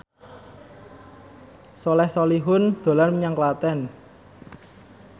Soleh Solihun dolan menyang Klaten